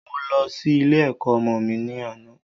Mo lọ sí ilé ẹ̀kọ́ ọmọ mi ní àná